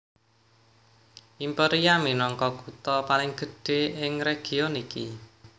Imperia minangka kutha paling gedhé ing region iki